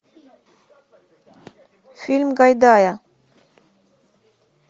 фильм гайдая